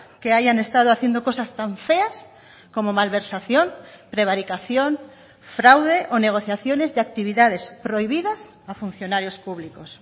que hayan estado haciendo cosas tan feas como malversación prevaricación fraude o negociaciones de actividades prohibidas a funcionarios públicos